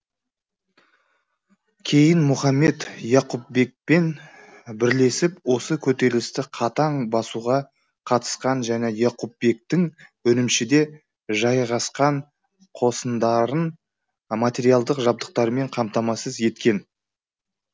кейін мұхаммед яқупбекпен бірлесіп осы көтерілісті қатаң басуға қатысқан және яқупбектің үрімшіде жайғасқан қосындарын материалдық жабдықтармен қамтамасыз еткен